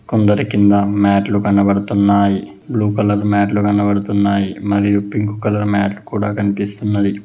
అందరి కింద మాట్టే లు కనబడుతున్నాయి బ్లూ కలర్ మ్యాట్లు కనబడుతున్నాయి మరియు పింకు కలర్ మాట్టే లు కూడా కన్పిస్తున్నది.